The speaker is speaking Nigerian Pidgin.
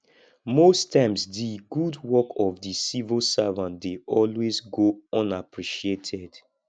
most times di good work of di civil servant dey always go unappreciated